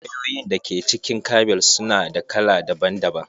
Wayoyin da ke cikin kabel su na da kala daban daban.